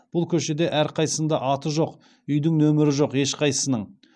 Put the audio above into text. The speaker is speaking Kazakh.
бұл көшеде әрқайсында аты жоқ үйдің нөмірі жоқ ешқайсының